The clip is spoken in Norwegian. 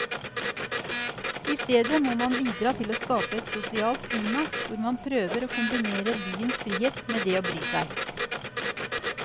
I stedet må man bidra til å skape et sosialt klima hvor man prøver å kombinere byens frihet med det å bry seg.